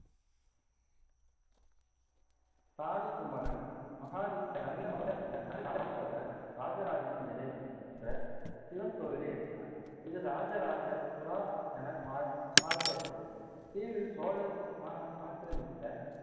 தாலி குமரன் மகாதித்த ராஜராஜேஸ்வரர் ராஜராஜன் இறைவன் என்ற சிவன் கோவிலை எழுப்பினார், இது ராஜராஜ புரா என மாரு~ மாறுபெயரிட்டது. தீவில் சோழர் ஆ~ ஆக்கிரமித்த